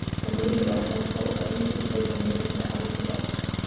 Það mikilvægasta er þó að enginn hluti heilans er algjörlega óvirkur.